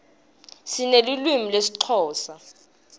sinelulwimi lesixhosa